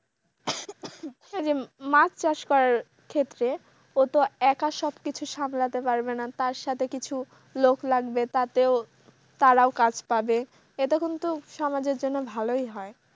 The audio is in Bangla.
মাছ চাষ করার ক্ষেত্রে ওতো একা সবকিছু সামলাতে পারবেনা তার সাথে কিছু লোক লাগবে তাতেও তারাও কাজ পাবে এটা কিন্তু সমাজের জন্য ভালই হয়।